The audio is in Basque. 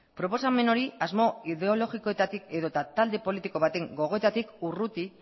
proposamen hori asmo ideologikoetatik edota talde politiko baten gogoetatik urruti